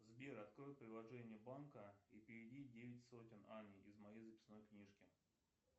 сбер открой приложение банка и переведи девять сотен анне из моей записной книжки